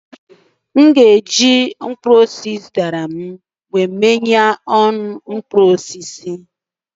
m ga-eji mkpụrụ osisi ị zụtara mee ihe ọṅụṅụ mkpụrụ osisi